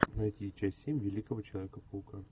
найди часть семь великого человека паука